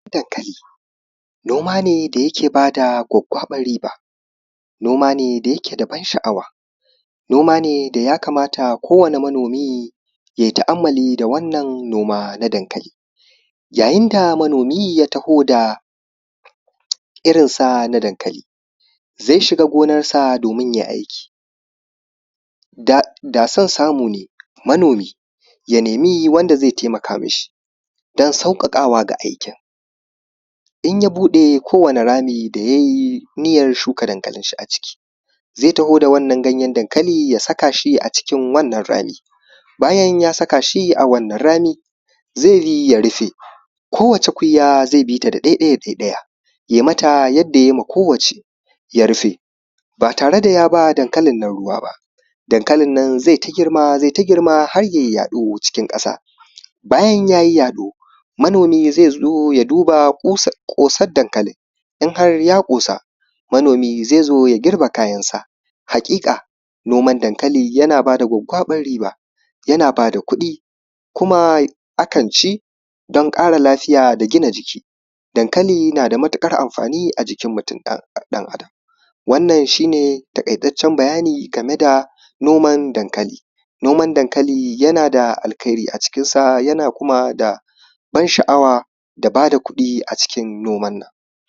dankali noma ne da yake ba da gwaggwaɓan riba noma ne da yake da ban sha’awa noma ne da ya kamata ko wane manomi yai ta’amali da wannan noma na dankali yayin da manomi ya taho da irinsa na dankali zai shiga gonan sa domin yai aiki da san samu ne manomi ya nemi wanda zai taimaka mi shi don sauƙaƙa wa ga aiki in ya buɗe ko wane rami da yayi niyyan shuka dankalin shi a ciki zai taho da wannan ganyen ya saka shi a cikin wannan rami bayan ya saka shi a wannan rami zai yi ya rife ko wace kuyya zai bi ta da ɗai ɗaya da ɗai ɗaya yai mata yadda yai ma kowacce ya rife ba tare da ya ba dankalin nan ruwa ba dankalin nan zai ta girma zai ta girma har yai yaɗo cikin ƙasa bayan yayi yaɗo manomi zai zo ya duba ƙosan dankalin in har ya ƙosa manomi zai zo ya girbe kayan shi haƙiƙa noman dankali yana ba da gwaggwaɓan riba yana ba da kuɗi kuma a kan ci don ƙara lafiya da gina jiki dankali na da matuƙar amfani a jikin mutum ɗan adam wannan shine taƙaitaccen bayani game da noman dankali noman dankali yana da alkairi a cikinsa yana kuma da ban sha’awa da ba da kuɗi a cikin noman nan